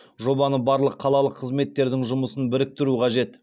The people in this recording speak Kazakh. жобаны барлық қалалық қызметтердің жұмысымен біріктіру қажет